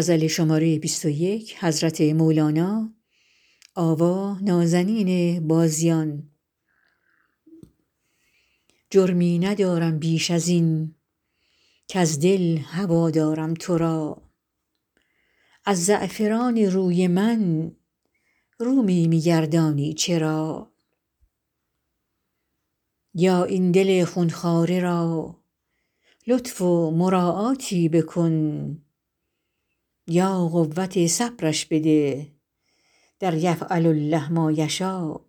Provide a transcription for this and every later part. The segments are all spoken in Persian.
جرمی ندارم بیش از این کز دل هوا دارم تو را از زعفران روی من رو می بگردانی چرا یا این دل خون خواره را لطف و مراعاتی بکن یا قوت صبرش بده در یفعل الله ما یشا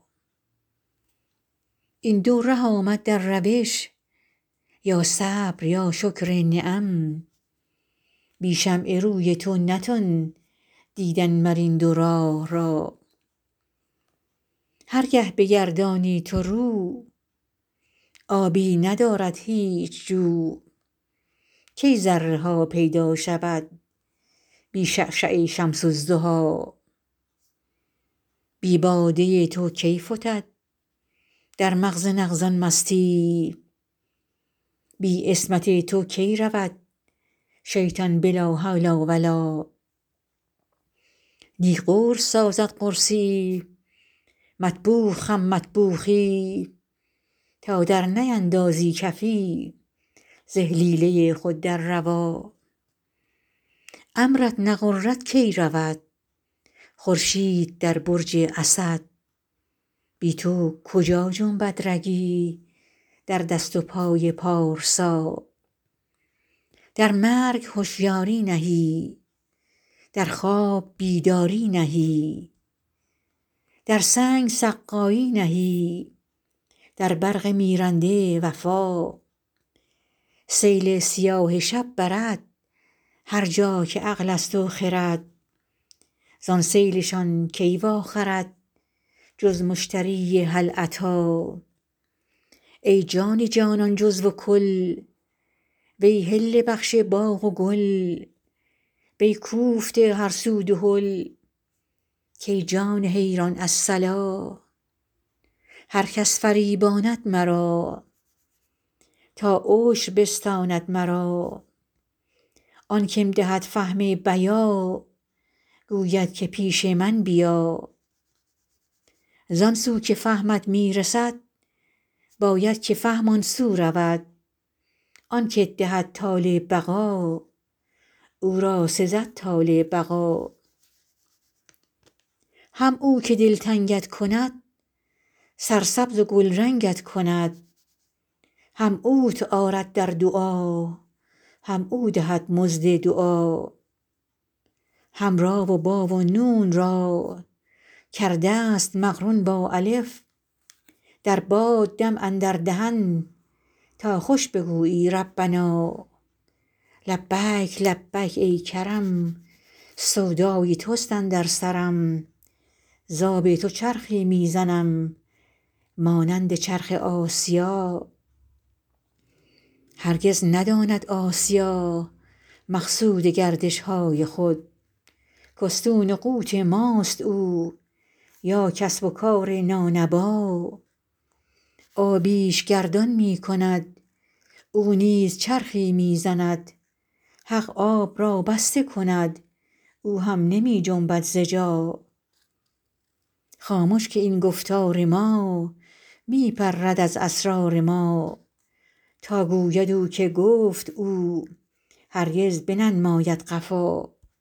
این دو ره آمد در روش یا صبر یا شکر نعم بی شمع روی تو نتان دیدن مر این دو راه را هر گه بگردانی تو رو آبی ندارد هیچ جو کی ذره ها پیدا شود بی شعشعه شمس الضحی بی باده تو کی فتد در مغز نغز ان مستی یی بی عصمت تو کی رود شیطان به لا حول و لا نی قرص سازد قرصی یی مطبوخ هم مطبوخی یی تا درنیندازی کفی ز اهلیله خود در دوا امرت نغرد کی رود خورشید در برج اسد بی تو کجا جنبد رگی در دست و پای پارسا در مرگ هشیاری نهی در خواب بیداری نهی در سنگ سقایی نهی در برق میرنده وفا سیل سیاه شب برد هر جا که عقل است و خرد زان سیل شان کی واخرد جز مشتری هل اتی ای جان جان جزو و کل وی حله بخش باغ و گل وی کوفته هر سو دهل کای جان حیران الصلا هر کس فریباند مرا تا عشر بستاند مرا آن که م دهد فهم بیا گوید که پیش من بیا زان سو که فهمت می رسد باید که فهم آن سو رود آن که ت دهد طال بقا او را سزد طال بقا هم او که دلتنگ ت کند سرسبز و گلرنگ ت کند هم اوت آرد در دعا هم او دهد مزد دعا هم ری و بی و نون را کرده ست مقرون با الف در باد دم اندر دهن تا خوش بگویی ربنا لبیک لبیک ای کرم سودای توست اندر سرم ز آب تو چرخی می زنم مانند چرخ آسیا هرگز نداند آسیا مقصود گردش های خود که استون قوت ماست او یا کسب و کار نانبا آبی ش گردان می کند او نیز چرخی می زند حق آب را بسته کند او هم نمی جنبد ز جا خامش که این گفتار ما می پرد از اسرار ما تا گوید او که گفت او هرگز بننماید قفا